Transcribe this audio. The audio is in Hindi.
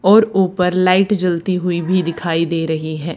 और ऊपर लाइट जलती हुई भी दिखाई दे रही है।